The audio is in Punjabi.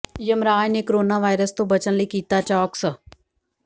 ਯਮਰਾਜ ਨੇ ਕੋਰੋਨਾ ਵਾਇਰਸ ਤੋਂ ਬੱਚਣ ਲਈ ਕੀਤਾ ਚੌਕਸ